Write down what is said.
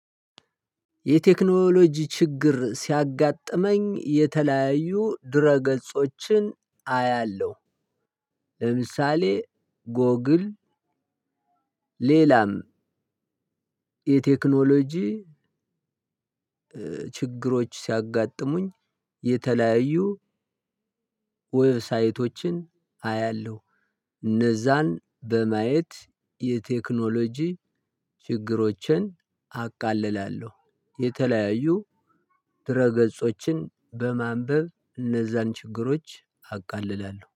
የቴክኖሎጂ ችግር ሲያጋጥመኝ የተለያዩ ድህረ ገጾችን አያለሁ። ለምሳሌ ጎግል ሌላም የቴክኖሎጂ ችግሮች ሲያጋጥሙኝ የተለያዩ ዌብሳይቶችን አያለሁ እነዛን በማየት የቴክኖሎጂ ችግሮችን አቃልላለሁ። የተለያዩ ድህረ ገጾችን በማንበብ እነዛን ችግሮች አቃልላለሁ